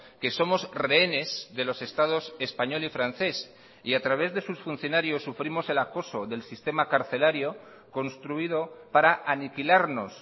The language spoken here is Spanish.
que somos rehenes de los estados español y francés y a través de sus funcionarios sufrimos el acoso del sistema carcelario construido para aniquilarnos